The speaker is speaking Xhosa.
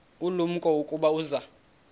ulumko ukuba uza